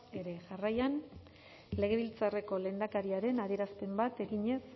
ere jarraian legebiltzarreko lehendakariaren adierazpena bat eginez